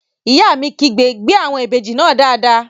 Ìyá mi kígbe "gbé àwọn ìbejì náà dáadáa!"